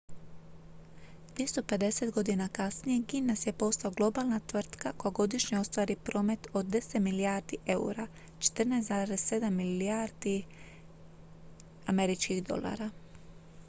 250 godina kasnije guinness je postao globalna tvrtka koja godišnje ostvari promet od 10 milijardi eura 14,7 milijardi usd